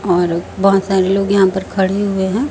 और बहुत सारे लोग यहां पर खड़े हुए हैं।